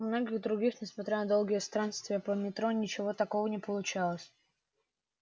у многих других несмотря на долгие странствия по метро ничего такого не получалось